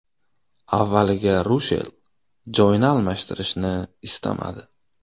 Avvaliga Rushel joyini almashtirishni istamadi.